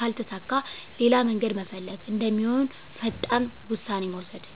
ካልተሳካ ሌላ መንገድ መፈለግ እንደሚሆን ፈጣን ውሳኔ መውሰድ።